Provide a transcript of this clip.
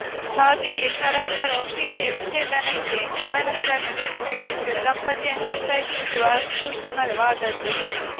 ಹಾಗೆಯೇ ಪರಸ್ಪರ ಒಪ್ಪಿಗೆಯ ವಿಚ್ಛೇದನಕ್ಕೆ ಕಾರಣಗಳನ್ನು ನೀಡಬೇಕೆಂದು ದಂಪತಿಯನ್ನು ಒತ್ತಾಯಿಸುವುದೂ ಅಸೂಕ್ಷ್ಮವಾದದ್ದು